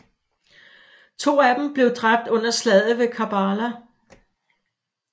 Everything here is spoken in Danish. To af dem blev dræbt under Slaget ved Karbala